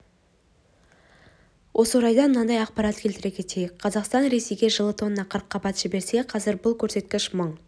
осы орайда мынадай ақпарат келтіре кетейік қазақстан ресейге жылы тонна қырыққабат жіберсе қазір бұл көрсеткіш мың